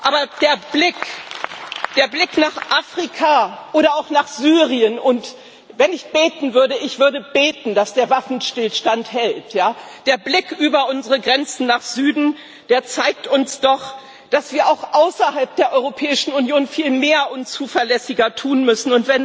Aber der Blick nach Afrika oder auch nach Syrien und wenn ich beten würde, würde ich beten, dass der Waffenstillstand hält der Blick über unsere Grenzen nach Süden zeigt uns doch, dass wir auch außerhalb der Europäischen Union viel mehr tun und zuverlässiger handeln müssen.